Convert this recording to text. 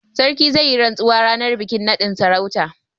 Sarkin zai yi rantsuwa ranar bikin naɗin sarautar.